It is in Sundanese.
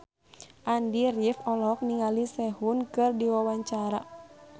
Andy rif olohok ningali Sehun keur diwawancara